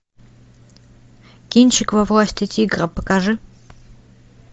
кинчик во власти тигра покажи